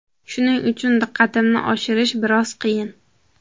Shuning uchun diqqatimni oshirish biroz qiyin.